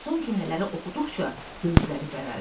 Son cümlələri oxuduqca gözləri bərəldi.